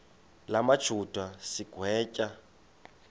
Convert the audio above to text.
la majuda sigwetywa